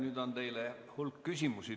Nüüd on teile hulk küsimusi.